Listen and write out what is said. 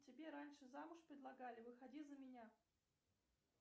тебе раньше замуж предлагали выходи за меня